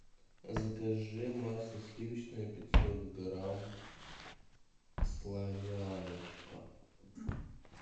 закажи масло сливочное пятьсот грамм славяночка